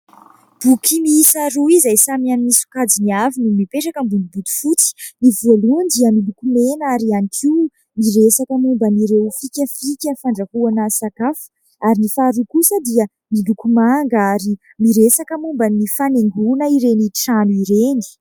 Boky miisa roa izay samy amin'ny sokajiny avy no mipetraka ambony bodifotsy. Ny voalohany dia miloko mena ary ihany koa miresaka momba an'ireo fikafika fandrahoana sakafo ; ary ny faharoa kosa dia miloko manga ary miresaka momba ny fanaingoana ireny trano ireny.